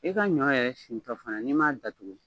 I ka ɲɔ yɛrɛ sintɔ fana n'i m'a datugu.